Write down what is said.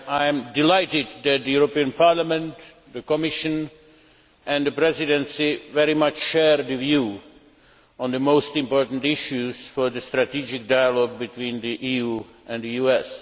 I am delighted that the European Parliament, the Commission and the Presidency very much share the same view on the most important issues for the strategic dialogue between the EU and the US.